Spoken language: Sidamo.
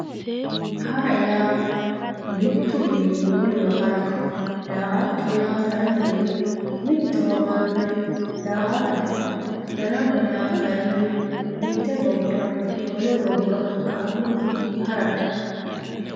hara yaa mittuwiini wolewa harate daa"atto yaa kayiinni mittowa marre daa"atate darama yaa kayiinni mitte gobbanni wole gobba qarrunni harate.